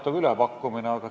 Toon teile paar-kolm näidet.